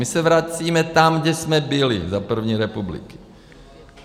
My se vracíme tam, kde jsme byli za první republiky.